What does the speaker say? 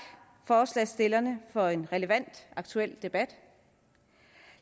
forslagsstillerne for en relevant og aktuel debat